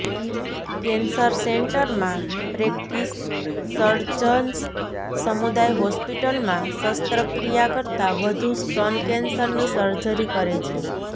cancer સેન્ટરમાં practice surgeons સમુદાય હોસ્પિટલમાં શસ્ત્રક્રિયા કરતા વધુ સ્તન કેન્સરની સર્જરી કરે છે